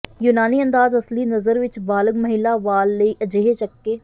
ਯੂਨਾਨੀ ਅੰਦਾਜ਼ ਅਸਲੀ ਨਜ਼ਰ ਵੀ ਬਾਲਗ ਮਹਿਲਾ ਵਾਲ ਲਈ ਅਜਿਹੇ ਚੱਕੇ